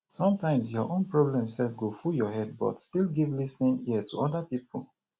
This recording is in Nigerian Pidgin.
sometimes your own problem sef go full your head but still give lis ten ing ear to oda pipo